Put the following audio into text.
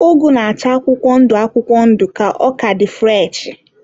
Ụgụ na-acha akwụkwọ ndụ akwụkwọ ndụ ka ọ ka dị fụreshị..